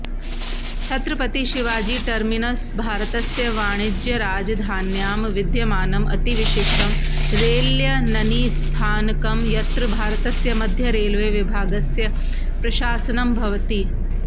छत्रपतिशिवाजीटर्मिनस् भारतस्य वाणिज्यराजधान्यां विद्यमानम् अति विशिष्टं रेल्यननिस्थानकम् यत्र भारतस्य मध्यरेल्वे विभागस्य प्रशासनं भवति